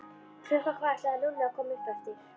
Klukkan hvað ætlaði Lúlli að koma upp eftir?